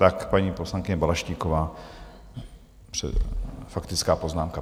Tak paní poslankyně Balaštíková, faktická poznámka.